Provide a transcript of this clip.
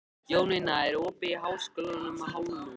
Jónína, er opið í Háskólanum á Hólum?